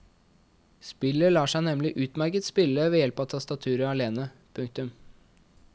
Spillet lar seg nemlig utmerket spille ved hjelp av tastaturet alene. punktum